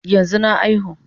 Yanzu na aihu